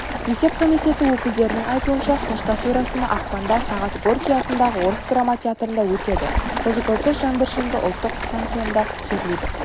есеп комитеті өкілдерінің айтуынша қоштасу рәсімі ақпанда сағат горький атындағы орыс драма театрында өтеді қозы-көрпеш жаңбыршинді ұлттық пантеонда жерлейді